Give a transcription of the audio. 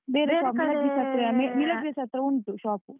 ಹತ್ರ ಉಂಟು shop.